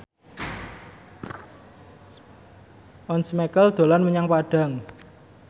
Once Mekel dolan menyang Padang